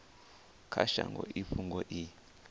kha shango i fhungo i